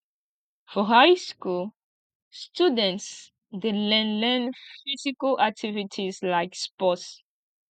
for high school students de learn learn physical activities like sports